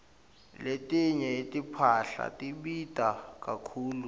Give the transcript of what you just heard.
letinye timphahla tibita kakhulu